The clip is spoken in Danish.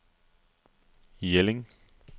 Jelling